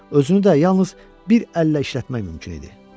Özünü də yalnız bir əllə işlətmək mümkün idi.